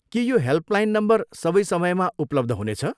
के यो helpline number सबै समयमा उपलब्ध हुनेछ?